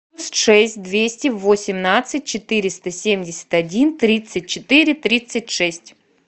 шесть двести восемнадцать четыреста семьдесят один тридцать четыре тридцать шесть